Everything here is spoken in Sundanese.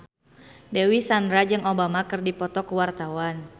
Dewi Sandra jeung Obama keur dipoto ku wartawan